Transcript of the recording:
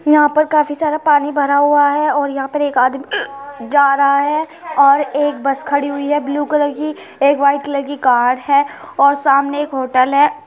यहाँ पर काफी सारा पानी भरा हुआ है और यहाँ पर एक आदमी जा रहा है और एक बस खडी हुई है ब्लू कलर की एक वाइट कलर की कार है और सामने एक होटल है।